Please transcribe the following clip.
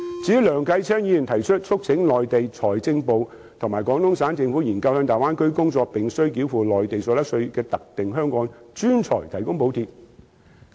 至於梁繼昌議員，他提出"促請內地財政部及廣東省政府硏究向大灣區工作並須繳付內地所得稅的特定香港專才提供補貼"。